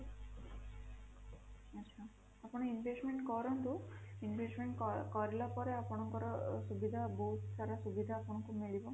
ଆଚ୍ଛା ଆପଣ investment କରନ୍ତୁ investment କରିଲା ପରେ ଆପଣଙ୍କର ସୁବିଧା ବହୁତ ସାରା ସୁବିଧା ଆପଣଙ୍କୁ ମିଳିବ